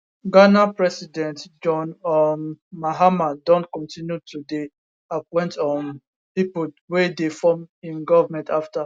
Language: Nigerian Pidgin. ghana president john um mahama don continue to dey appoint um pipo wey dey form im goment afta